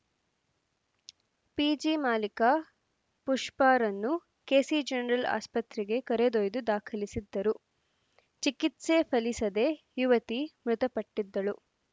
PG ಮಾಲಿಕ ಪುಷ್ಪಾರನ್ನು KC general ಆಸ್ಪತ್ರೆಗೆ ಕರೆದೊಯ್ದು ದಾಖಲಿಸಿದ್ದರು ಚಿಕಿತ್ಸೆ ಫಲಿಸದೇ ಯುವತಿ ಮೃತಪಟ್ಟಿದ್ದಳು